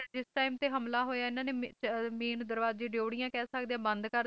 ਜਿਸ time ਤੇ ਹਮਲਾ ਹੋਇਆ ਇਨ੍ਹਾਂ ਨੇ main ਦਰਵਾਜ਼ੇ ਡਿਉਢੀਆਂ ਕਹਿ ਸਕਦੇ ਹਾਂ ਬੰਦ ਕਰ ਦਿੱਤੇ